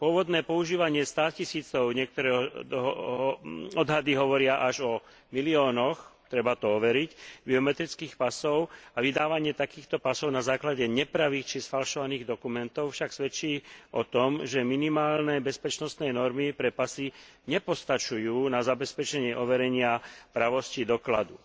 Pôvodné používanie státisícov, niektoré odhady hovoria až o miliónoch treba to overiť biometrických pasov a vydávanie takýchto pasov na základe nepravých či sfalšovaných dokumentov však svedčí o tom, že minimálne bezpečnostné normy pre pasy nepostačujú na zabezpečenie overenia pravosti dokladu.